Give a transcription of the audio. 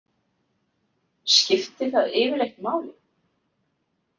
Skipti það yfirleitt máli?